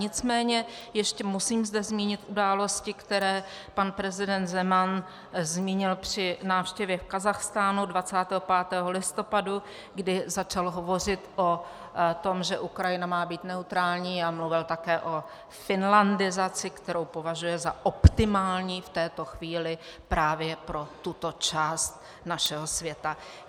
Nicméně ještě zde musím zmínit události, které pan prezident Zeman zmínil při návštěvě v Kazachstánu 25. listopadu, kdy začal hovořit o tom, že Ukrajina má být neutrální, a mluvil také o finlandizaci, kterou považuje za optimální v této chvíli právě pro tuto část našeho světa.